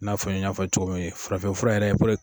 N'a fɔli ye n y'a fɔ aw ye cogo min, farafinfura yɛrɛ